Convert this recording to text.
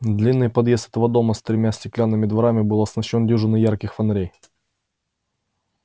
длинный подъезд этого дома с тремя стеклянными дверями был освещён дюжиной ярких фонарей